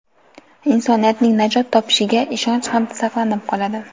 insoniyatning najot topishiga ishonch ham saqlanib qoladi.